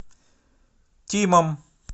тимом